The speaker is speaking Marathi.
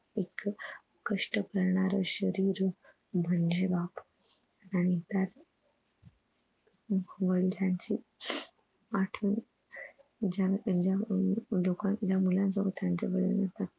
एक कष्ट करणार शरीर म्हणजे बाबा आणि त्यात वडिलांची आठवण ज्याला त्यांच्या अं लोकांन मुलानं सोबत त्याचं